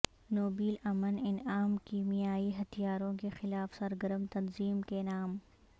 Nobel امن انعام کیمیائی ہتھیاروں کے خلاف سرگرم تنظیم کے نام